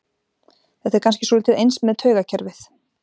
Þetta er kannski svolítið eins með taugakerfið.